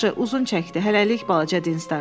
Yaxşı, uzun çəkdi hələlik balaca.